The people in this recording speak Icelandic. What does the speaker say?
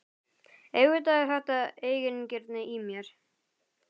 Auðvitað er þetta eigingirni í mér.